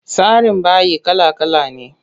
Tsarin bayi kala kala ne.